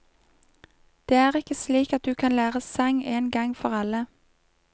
Det er ikke slik at du kan lære sang en gang for alle.